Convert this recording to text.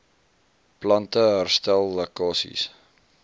plante herstel lekkasies